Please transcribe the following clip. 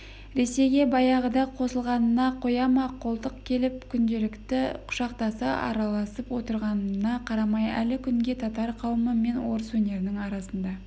ресейге баяғыда қосылғанына қояма-қолтық келіп күнделікті құшақтаса араласып отырғанына қарамай әлі күнге татар қауымы мен орыс өнерінің арасында